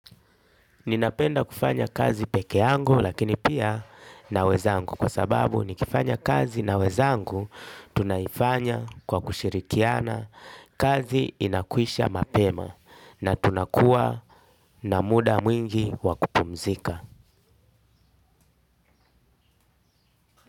Ninapenda kufanya kazi peke yangu lakini pia na wenzangu kwa sababu nikifanya kazi na wenzangu tunaifanya kwa kushirikiana kazi inakwisha mapema na tunakuwa na muda mwingi wakupumzika.